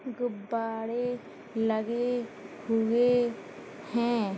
गुब्बारे लगे हुए हैं।